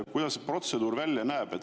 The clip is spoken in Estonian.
Kuidas see protseduur välja näeb?